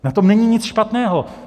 Na tom není nic špatného.